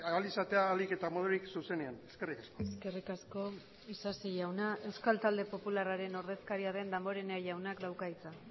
ahal izatea ahalik eta modurik zuzenean eskerrik asko eskerrik asko isasi jauna euskal talde popularraren ordezkaria den damborenea jaunak dauka hitza